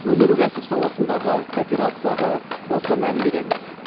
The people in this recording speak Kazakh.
өнеркәсіп саласындағы кооперацияға баса мән береміз